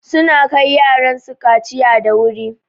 Suna kai yaran su kaciya da wuri.